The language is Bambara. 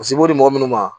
Paseke i b'o di mɔgɔ minnu ma